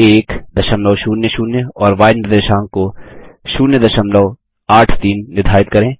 100 और य निर्देशांक को 083 निर्धारित करें